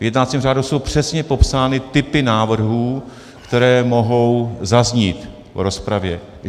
V jednacím řádu jsou přesně popsány typy návrhů, které mohou zaznít v rozpravě.